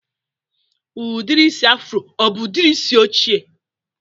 Udiri isi afro ọ bụ udiri isi oche?